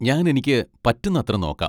ഞാൻ എനിക്ക് പറ്റുന്നത്ര നോക്കാം.